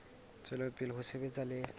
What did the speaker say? tswela pele ho sebetsa le